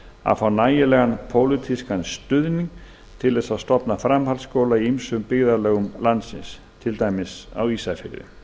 að fá nægilegan pólitískan stuðning til að stofna framhaldsskóla í ýmsum byggðarlögum landsins til dæmis á ísafirði